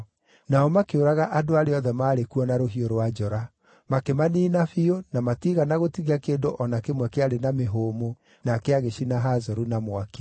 Nao makĩũraga andũ arĩa othe maarĩ kuo na rũhiũ rwa njora. Makĩmaniina biũ na matiigana gũtigia kĩndũ o na kĩmwe kĩarĩ na mĩhũmũ, nake agĩcina Hazoru na mwaki.